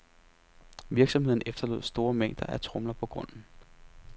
Virksomheden efterlod store mængder af tromler på grunden.